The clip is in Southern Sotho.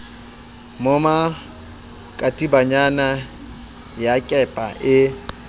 moma katibanyana ya kepa e